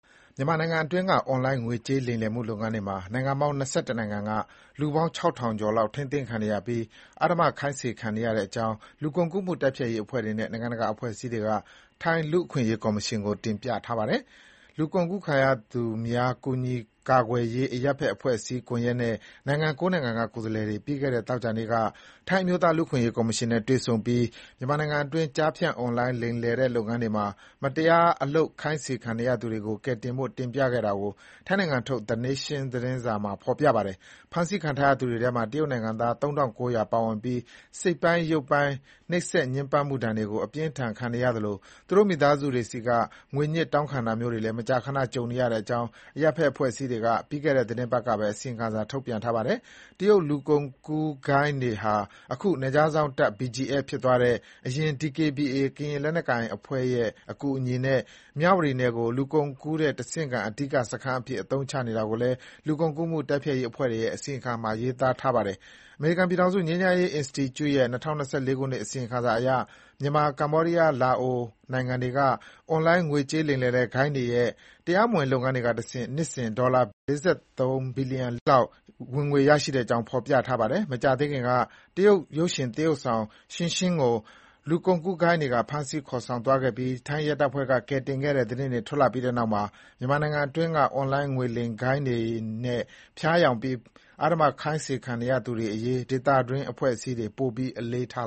မြန်မာနိုင်ငံအတွင်းက အွန်လိုင်း ငွေကြေးလိမ်လည်မှု လုပ်ငန်းတွေမှာ နိုင်ငံပေါင်း ၂၁ နိုင်ငံက လူပေါင်း ၆,၀၀၀ ကျော်လောက် ထိန်းသိမ်းခံနေရပြီး အဓမ္မခိုင်းစေခံနေရတဲ့အကြောင်း လူကုန်ကူးမှုတိုက်ဖျက်ရေးအဖွဲ့တွေနဲ့ နိုင်ငံတကာ အဖွဲ့အစည်းတွေက ထိုင်း လူ့အခွင့်အရေးကော်မရှင်ကို တင်ပြထားပါတယ်။ လူကုန်ကူးခံရသူများ ကူညီကာကွယ်ရေး အရပ်ဖက် အဖွဲ့အစည်းကွန်ရက်နဲ့ နိုင်ငံ ၉ နိုင်ငံက ကိုယ်စားလှယ်တွေ ပြီးခဲ့တဲ့ သောကြာနေ့က ထိုင်း အမျိုးသားလူ့အခွင့်အရေး ကော်မရှင်နဲ့ တွေ့ဆုံပြီး မြန်မာနိုင်ငံတွင်း ကျားဖြန့် အွန်လိုင်းလိမ်လည်တဲ့လုပ်ငန်းတွေမှာ မတရား အလုပ်ခိုင်းခံနေရသူတွေကို ကယ်တင်ဖို့ တင်ပြခဲ့တာကို ထိုင်းနိုင်ငံထုတ် The Nation သတင်းစာမှာ ဖေါ်ပြပါတယ်။ ဖမ်းဆီးခံထားရသူတွေထဲမှာ တရုတ်နိင်ငံသား ၃,၉၀၀ ပါဝင်ပြီး စိတ်ပိုင်းရုပ်ပိုင်း နှိပ်စက်ညှဉ်းပန်းမှုဒဏ်တွေကို အပြင်းအထန် ခံနေရသလို သူတို့ မိသားစုတွေဆီက ငွေညှစ်တောင်းခံတာမျိုးတွေလည်း မကြာခဏ ကြုံနေရတဲ့အကြောင်း အရပ်ဖက်အဖွဲ့အစည်းတွေက ပြီးခဲ့တဲ့ သီတင်းပတ်ကပဲ အစီရင်ခံစာထုတ်ပြန်ထားပါတယ်။ တရုတ် လူကုန်ကူးဂိုဏ်းတွေဟာ အခု နယ်ခြားစောင့်တပ် BGF ဖြစ်သွားတဲ့ အရင် DKBA ကရင်လက်နက်ကိုင်အဖွဲ့တွေရဲ့ အကူအညီနဲ့ မြဝတီနယ်ကို လူကုန်ကူးတဲ့ တဆင့်ခံ အဓိကစခန်းအဖြစ် အသုံးချနေတာကိုလည်း လူကုန်ကူးမှု တိုက်ဖျက်ရး အဖွဲ့တွေရဲ့ အစီရင်ခံစာမှာ ရေးသားထားပါတယ်။ အမေရိကန်ပြည်ထောင်စု ငြိမ်းချမ်းရေးအင်စတီကျု့ရဲ့ ၂၀၂၄ ခုနှစ် အစီရင်ခံစာရ မြန်မာ၊ ကမ္ဘောဒီးယား၊ လာအို နိုင်ငံတွေက အွန်လိုင်း ငွေကြေးလိမ်လည်တဲ့ ဂိုဏ်းတွေရဲ့ တရားမဝင်လုပ်ငန်းတွေကတဆင့် နှစ်စဉ်ဝင်ငွေ ဒေါ်လာဘီလျံ ၄၃ သန်းကျော် ဝင်ငွေရနေတဲ့အကြောင်း ဖေါ်ပြထားပါတယ်။ မကြာသေးခင်က တရုတ်ရုပ်ရှင် သရုပ်ဆောင် Xingxing ကို လူကုန်ကူးဂိုဏ်းတွေက ဖမ်းဆီးခေါ်ဆောင်သွားခဲ့ပြီး ထိုင်းရဲတပ်ဖွဲ့က ကယ်တင်ခဲ့တဲ့ သတင်းထွက်လာပြီးနောက်မှာ မြန်မာနိုင်ငံအတွင်းက အွန်လိုင်းငွေလိမ်ဂိုဏ်းတွေနဲ့ ဖျားယောင်းပြီး အဓမ္မခိုင်းခံနေရသူတွေအရေး ဒေသတွင်းအဖွဲ့အစည်းတွေ ပိုပြီး အလေးထား